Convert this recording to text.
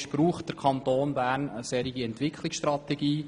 Braucht der Kanton Bern eine solche Entwicklungsstrategie?